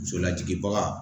Muso lajigibaga